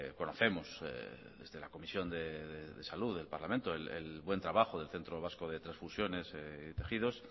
conocemos desde la comisión de salud del parlamento el buen trabajo del centro vasco de transfusiones y tejidos